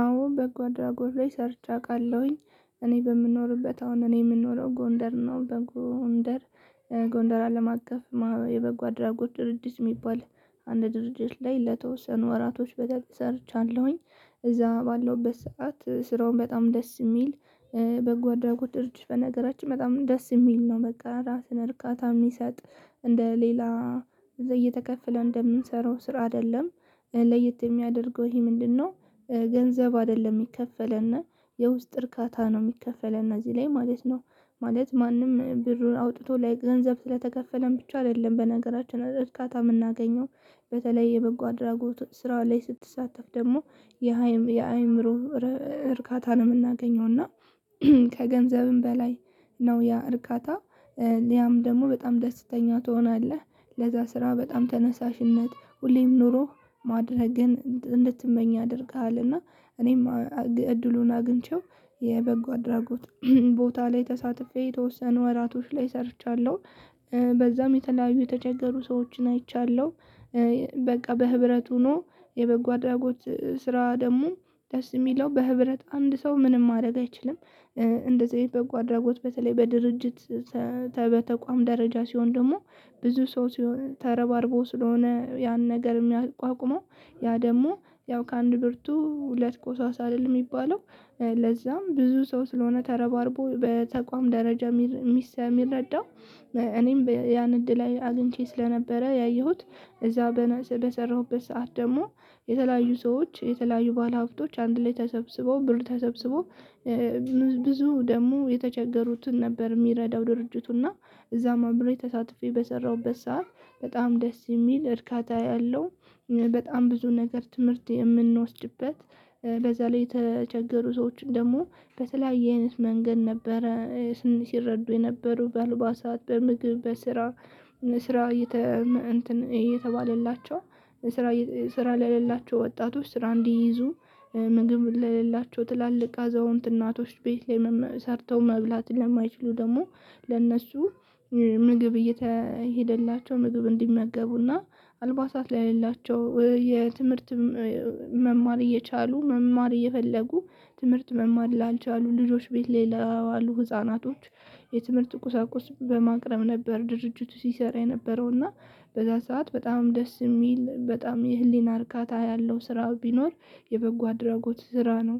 አዎ በጎ አድራጎት ላይ ሰርቼ አቃለሁኝ እኔ በምኖርበት አሁን እኔ የምኖረው ጎንደር ነው። በጎንደር ጎንደር አለም አቀፍ የበጎ አድራጎት ድርጅት የሚባል አንድ ድርጅት ላይ ለተወሰኑ ወራቶች በደንብ ሰርቻለሁኝ እዛ ባለውበት ስዓት ስራውም በጣም ደስ የሚል በጎ አድራጎት ድርጅት በነገራችን በጣም ደስ የሚል ነው። መቀራራትን እርካታ ምሰጥ እንደ ሌላ እየተከፈለ እንደምንሰራው ስራ አይደለም ለየት የሚያደርገው ይሄ ምንድነው? ገንዘብ አይደለም ሚከፈለን የውስጥ እርካታ ነው ሚከፈለን እዚህ ላይ ማለት ነው። ማለት ማንም ብሩን አውጥቶ ገንዘብ ስለተከፈለን ብቻ አይደለም በነገራችን እርካታ የምናገኘው በተለይ የበጎ አድራጎት ስራው ላይ ስትሳተፍ ደግሞ። የአእምሮ እርካታንም የምናገኘውና ከገንዘብም በላይ ነው ያ እርካታ ሊያም ደግሞ በጣም ደስተኛ ትሆናለህ ለዛ ስራ በጣም ተነሳሽነት ሁሌም ኖሮ ማድረግን እንድትመኝ አያደርጋል እና። እኔም እድሉን አግኝቼው የበጎ አድራጎት ቦታ ላይ ተሳትፌ የተወሰኑ ወራቶች ላይ ሰርቻለሁ። በዛም የተለያዩ የተቸገሩ ሰዎችን አይቻለሁ። በቃ በህብረት ሆኖ የበጎ አድራጎት ስራ ደግሞ ደስ የሚለው በህብረት አንድ ሰው ምንም ማድረግ አይችልም። እንደዚህ አይነት በጎ አድራጎት በተለይ በድርጅት በተቋም ደረጃ ሲሆን ደግሞ ብዙ ሰው ሲሆን ተረባርቦ ስለሆነ ያን ነገር የሚያቋቁመው ያ ደግሞ ያው ከአንድ ብርቱ ሁለት ቆሳሳ አይደለም የሚባለው ለዛም ብዙ ሰው ስለሆነ ተረባርቦ በተቋም ደረጃ የሚረዳው። እኔም ያን እድል አግኝቼ ስለነበረ ያየሁት እዛው በሰራሁበት ሰዓት ደግሞ የተለያዩ ሰዎች የተለያዩ ባለሀብቶች አንድ ላይ ተሰብስበው ብር ተሰብስበው። ብዙ ደግሞ የተቸገሩትን ነበር የሚረዳው ድርጅቱና እዛም አብሬ ተሳትፌ በሰራሁበት ሰዓት በጣም ደስ የሚል እርካታ ያለው በጣም ብዙ ነገር ትምህርት የምንወስድበት። በዛ ላይ የተቸገሩ ሰዎችን ደግሞ በተለያየ አይነት መንገድ ነበረ ሲረዱ የነበሩ በአለባሳት በምግብ በስራ እየተባሌላቸው ስራ ለሌላቸው ወጣቶች ስራ እንዲህዙ ምግብ ለሌላቸው ትላልቅ አዘውንት እናቶች ቤት ላይ ሰርተው መብላት ለማይችሉ ደግሞ። ለእነሱ ምግብ እየሄደላቸው ምግብ እንዲመገቡ እና አልባሳት ለሌላቸው የትምህርትም መማር እየቻሉ መማር እየፈለጉ ትምህርት መማር ላልቻሉ ልጆች ቤት ላይ ለዋሉ ህፃናቶች የትምህርት ቁሳቁስ በማቅረብ ነበር ድርጅቱ ሲሰራ የነበረው እና። በዛ ሰዓት በጣም ደስ የሚል በጣም የህሊና እርካታ ያለው ስራ ቢኖር የበጎ አድራጎት ስራ ነው።